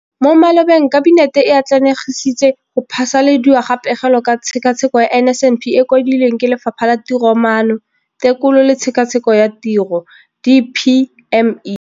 Mo malobeng Kabinete e atlenegisitse go phasaladiwa ga Pegelo ka Tshekatsheko ya NSNP e e kwadilweng ke Lefapha la Tiromaano, Tekolo le Tshekatsheko ya Tiro DPME.